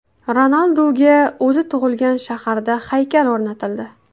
Ronalduga o‘zi tug‘ilgan shaharda haykal o‘rnatildi .